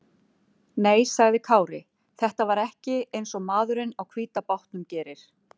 Nei, sagði Kári, þetta var ekki eins og maðurinn á hvíta bátnum gerir.